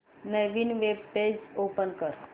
नवीन web page open कर